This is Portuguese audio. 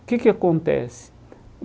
O que que acontece?